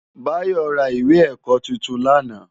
Bayo rá iwé èkò tútún làná